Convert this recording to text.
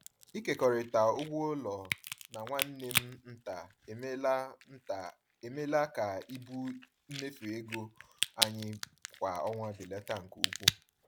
Ịkekọrịta ụgwọ ụlọ na nwanne m nta emeela nta emeela ka ibu mmefu ego anyị kwa ọnwa belata nke ukwuu.